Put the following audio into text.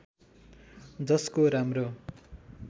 जसको राम्रो